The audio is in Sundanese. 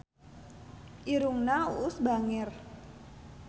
Irungna Uus bangir